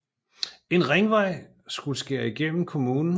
En ringvej skulle skære gennem kommunen